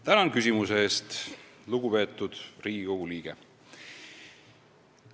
Tänan küsimuse eest, lugupeetud Riigikogu liige!